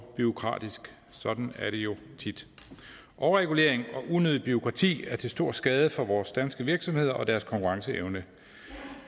bureaukratisk sådan er det jo tit overregulering og unødig bureaukrati er til stor skade for vores danske virksomheder og deres konkurrenceevne